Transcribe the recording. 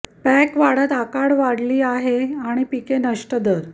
pack वाढत आकार वाढली आहे आणि पिके नष्ट दर